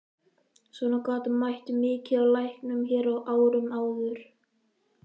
Svona gat mætt mikið á læknunum hér á árum áður.